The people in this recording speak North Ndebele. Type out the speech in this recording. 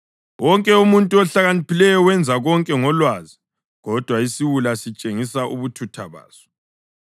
Wonke umuntu ohlakaniphileyo wenza konke ngolwazi, kodwa isiwula sitshengisa ubuthutha baso.